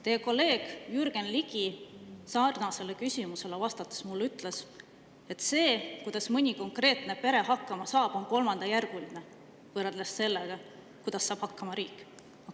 Teie kolleeg Jürgen Ligi sarnasele küsimusele vastates ütles mulle, et see, kuidas mõni konkreetne pere hakkama saab, on kolmandajärguline võrreldes sellega, kuidas saab hakkama riik.